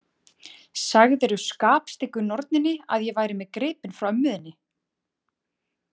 Sagðirðu skapstyggu norninni að ég væri með gripinn frá ömmu þinni?